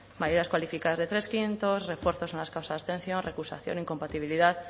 mayorías cualificadas de tres barra cinco refuerzos en las causas de abstención recusación o incompatibilidad